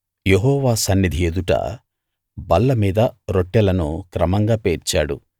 యెహోవా సన్నిధి ఎదుట బల్ల మీద రొట్టెలను క్రమంగా పేర్చాడు